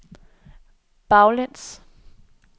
baglæns